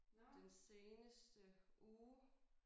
Den seneste uge